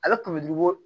Ale kun bɛ bɔ